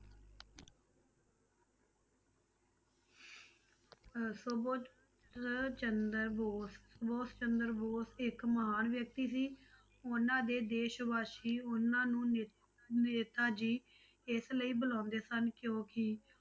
ਅਹ ਸੁਭਾਸ਼ ਚੰਦਰ ਬੋਸ ਸੁਭਾਸ਼ ਚੰਦਰ ਬੋਸ ਇੱਕ ਮਹਾਨ ਵਿਅਕਤੀ ਸੀ ਉਹਨਾਂ ਦੇ ਦੇਸ ਵਾਸੀ ਉਹਨਾਂ ਨੂੰ ਨੇ~ ਨੇਤਾ ਜੀ ਇਸ ਲਈ ਬੁਲਾਉਂਦੇ ਸਨ ਕਿਉਂਕਿ